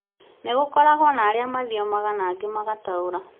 nĩgũkoragwo na arĩa mathiomaga na angĩ magataũra